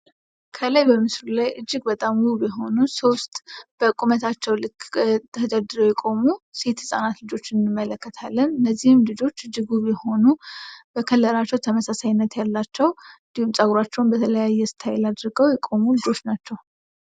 ከላይ በምስሉ ላይ እጅግ በጣም ውብ የሆኑ ሶስት በቁመታቸው ልክ ተደርድረው የቆሙ ሴት ህፃናት ልጆችን እንመለከታለን። እነዚህም ልጆች እጅግ ውብ የሆኑ ከለራቸው ተመሳሳይነት ያላቸው እንዲሁም ጸጉራቸውን በተለያየ ስታይል አድርገው የቆሙ ልጆች ናቸው።